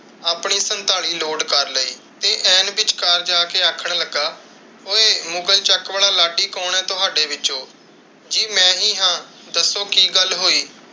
ਆਪਣੀ ਸਨਤਾਲੀ ਲੋਡ ਕਰ ਲਈ ਤੇ ਐਨ ਵਿੱਚਕਾਰ ਜਾ ਕੇ ਆਖਣ ਲੱਗਾ, ਓਏ! ਮੁਗ਼ਲ ਚੱਕ ਵਾਲਾ ਲਾਡੀ ਕੌਣ ਹੈ ਤੁਹਾਡੇ ਵਿਚੋਂ? ਜੀ ਮੈਂ ਹੀ ਹਾਂ। ਦੱਸੋ ਕਿ ਗੱਲਹੋਈ?